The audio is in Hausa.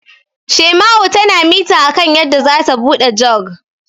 Shaima'u tana mita akan yadda zata buɗe Jug.